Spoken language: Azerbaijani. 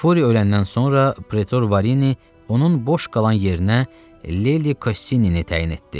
Furi öləndən sonra Pretor Varini onun boş qalan yerinə Leli Kossinini təyin etdi.